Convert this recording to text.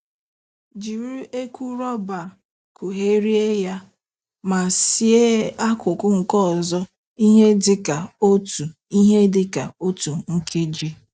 Jiri eku rọba kugherie ya, ma sie akụkụ nke ọzọ ihe dịka otu ihe dịka otu nkeji.